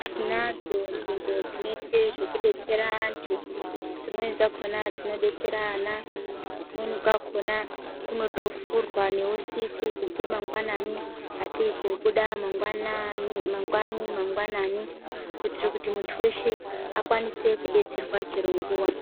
Tinadzo nzvimbo dzinoitwe zvekudetsera antu, dzimweni dzakhona dzinodetsera ana, kumweni kwakhona kunotovhurwa neusiku, kubve mangwanani atei koobuda mangwani mangwanani, kuitire kuti muntu weshe akwanise kudetserwa chero nguwa.